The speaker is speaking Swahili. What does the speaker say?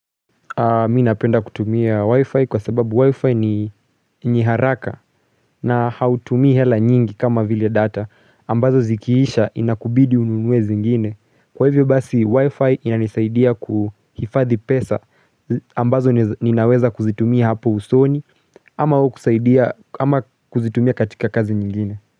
Mi napenda kutumia wifi kwa sababu wifi ni haraka na hautumi hela nyingi kama vile data ambazo zikiisha inakubidi ununue zingine. Kwa hivyo basi wifi inanisaidia kuhifadhi pesa ambazo ninaweza kuzitumia hapo usoni ama kuzitumia katika kazi nyingine.